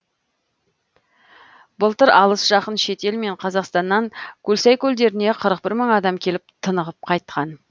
былтыр алыс жақын шетел мен қазақстаннан көлсай көлдеріне қырық бір мың адам келіп тынығып қайтқан